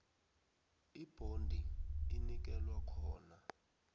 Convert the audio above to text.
ibhondi inikelwa khona